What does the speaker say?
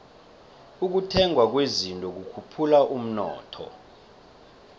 ukuthengwa kwezinto kukhuphula umnotho